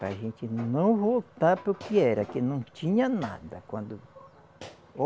Para gente não voltar para o que era, que não tinha nada quando